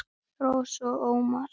Rósa og Ómar.